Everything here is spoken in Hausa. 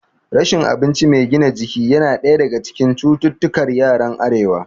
Rashin abinci mai gina jiki yana ɗaya daga cikin cututtukar yaran arewa